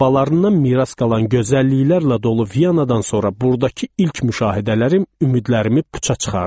Babalarından miras qalan gözəlliklərlə dolu Viyanadan sonra burdakı ilk müşahidələrim ümidlərimi puça çıxardı.